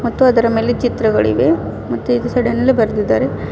ಮತ್ತು ಅದರ ಮೇಲೆ ಚಿತ್ರಗಳಿವೆ ಮತ್ತು ಈಚೆ ಸೈಡಿ ನಲ್ಲಿ ಬರೆದಿದ್ದಾರೆ.